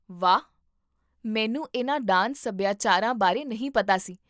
ਵਾਹ, ਮੈਨੂੰ ਇਹਨਾਂ ਡਾਂਸ ਸਭਿਆਚਾਰਾਂ ਬਾਰੇ ਨਹੀਂ ਪਤਾ ਸੀ